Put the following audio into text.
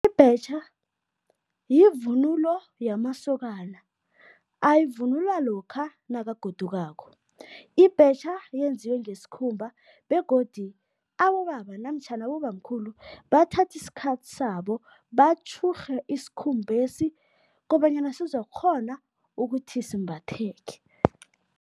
Ibhetjha yivunulo yamasokana, ayivunula lokha nakagodukako. Ibhetjha yenziwe ngesikhumba begodu abobaba namtjhana abobamkhulu bathatha isikhathi sabo, batjhurhe isikhumbesi kobanyana sizokukghona ukuthi simbatheke.